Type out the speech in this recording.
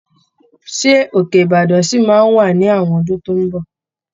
Ṣé Òkè-Ìbàdàn ṣì máa wà ní àwọn ọdún tó ń bọ̀?